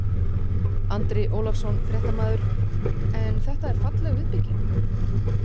Andri Ólafsson, fréttamaður: En þetta er falleg viðbygging?